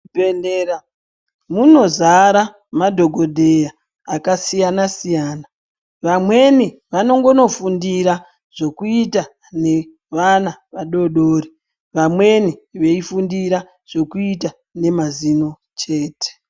Mu zvibhedhlera muno zara madhokodheya aka siyana siyana vamweni vanongono fundira zvokuita ne vana vadodori vamweni vei fundira zvokuita ne mazino chete.